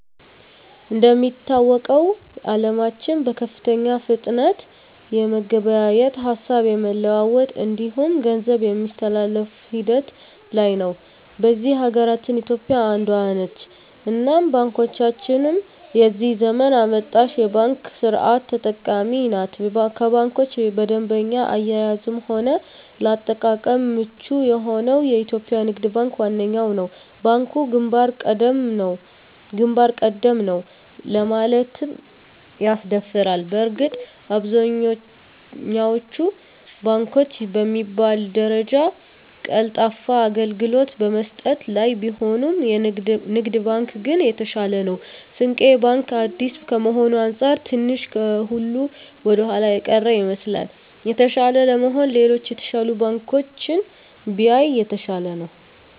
እንደሚታወቀዉ አለማችን በከፍተኛ ፍጥነት የመገበያየት፣ ሀሳብ የመለዋወጥ እንዲሁም ገንዘብ የማስተላፍ ሂደት ላይ ነዉ። በዚህ ሀገራችን ኢትዮጵያ አንዷ ነት እናም ባንኮቻችንም የዚህ ዘመን አመጣሽ የባንክ ስርት ተጠቃሚ ናት ከባንኮች በደንበኛ አያያዝም ሆነ ለአጠቃቀም ምቹ የሆነዉ የኢትዮጵያ ንግድ ባንክ ዋነኛዉ ነዉ። ባንኩ ግንባር ቀደም ነዉ ለማለትም ያስደፍራል በእርግጥ አብዛኛወቹ ባንኮች በሚባል ደረጃ ቀልጣፋ አገልግሎት በመስጠት ላይ ቢሆኑም ንግድ ባንክ ግን የተሻለ ነዉ። ስንቄ ባንክ አዲስ ከመሆኑ አንፃር ትንሽ ከሁሉ ወደኋላ የቀረ ይመስላል። የተሻለ ለመሆን ሌሎች የተሻሉ ባንኮችን ቢያይ የተሻለ ነዉ።